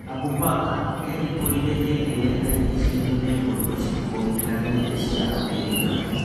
Abu Mbaka erimbũrire hĩndĩ ĩrĩa arigicĩirio nĩ mbũtũ cĩkũrĩkanĩte cia Amerika.